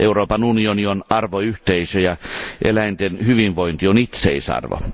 Euroopan unioni on arvoyhteisö ja eläinten hyvinvointi on itseisarvo.